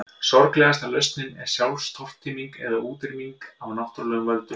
Sorglegasta lausnin er sjálfstortíming eða útrýming af náttúrulegum völdum.